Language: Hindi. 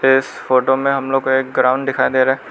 इस फोटो में हम लोग एक ग्राउंड दिखाई दे रहा--